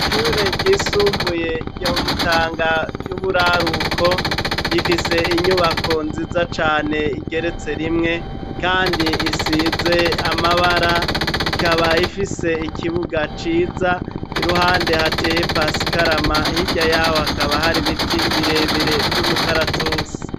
Ishure ryisumbuye ryomutanga yuburaruko rifise inyubako nziza cane igeretse rimwe kandi isize amabara ikaba ifise ikibuga ciza iruhande hateye paskarama hirya yaho hakaba hara ibiti birebire vyumukaratusi.